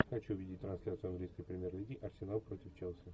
хочу видеть трансляцию английской премьер лиги арсенал против челси